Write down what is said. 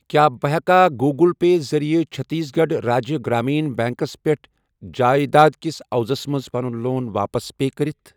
کیٛاہ بہٕ ہٮ۪کا گوٗگٕل پے ذٔریعہٕ چٔھتیٖس گَڑھ راجیہ گرٛامیٖن بیٚنٛکس پٮ۪ٹھ جایداد کِس عِوزَس منٛز پَنُن لون واپس پے کٔرِتھ؟